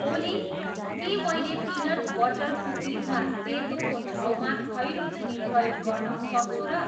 ओली के मैले peanut butter कुकिजमा सेतोको ठाउँमा खैरो चिनी प्रयोग गर्न सक्छु र